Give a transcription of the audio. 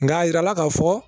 Nka a jirala k'a fɔ